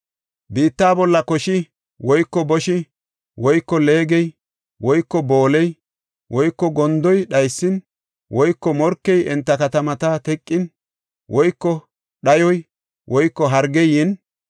“Biittaa bolla koshi woyko boshi woyko leegey woyko booley woyko gondoy dhaysin woyko morkey enta katamata teqin woyko dhayoy woyko hargey yin,